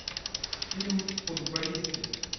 фильм футболисты